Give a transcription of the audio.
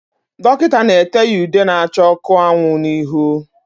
Dọkịta na-ete ya ude na-acha ọkụ anwụ na ihu.